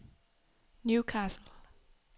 Newcastle